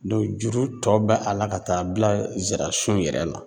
juru tɔ be a la ka taa bila zira sun yɛrɛ la.